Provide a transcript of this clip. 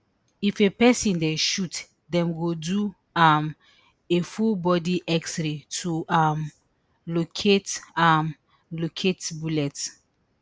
if a pesin dey shot dem go do um a fullbody xray to um locate um locate bullets